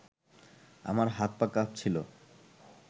আমার হাত-পা কাঁপছিল